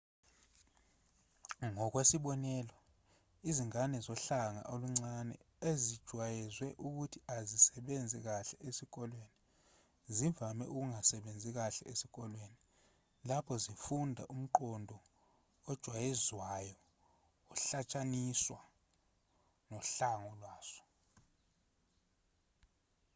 ngokwesibonelo izingane zohlanga oluncane ezijwayezwe ukuthi azisebenzi kahle esikoleni zivame ukungasebenzi kahle esikoleni lapho zifunda ngomqondo ojwayezwayo ohlotshaniswa nohlanga lwazo